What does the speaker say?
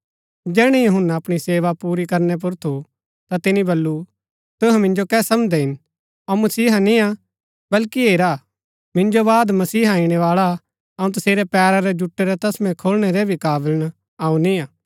जैहणै यूहन्‍ना अपणी सेवा पुरी करनै पुर थु ता तिनी बल्लू तुहै मिन्जो कै समझदै हिन अऊँ मसीहा निय्आ बल्कि हेरा मिन्जो बाद मसीहा इणैवाळा अऊँ तसेरै पैरा रै जुटै रै तस्मै खोलणै रै भी काबल अऊँ निय्आ